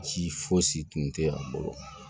Ci fosi tun tɛ a bolo